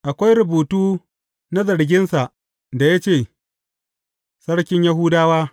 Akwai rubutu na zarginsa, da ya ce, Sarkin Yahudawa.